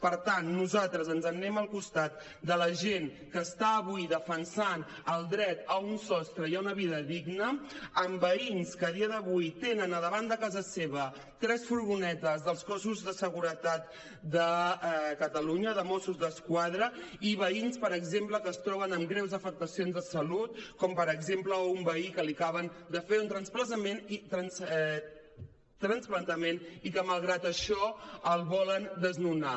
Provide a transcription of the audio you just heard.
per tant nosaltres ens n’anem al costat de la gent que està avui defensant el dret a un sostre i a una vida digna amb veïns que a dia d’avui tenen a davant de casa seva tres furgonetes dels cossos de seguretat de catalunya de mossos d’esquadra i veïns per exemple que es troben amb greus afectacions de salut com per exemple un veí a qui li acaben de fer un trasplantament i que malgrat això el volen desnonar